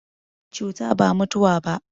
Cuta ba mutawa ba.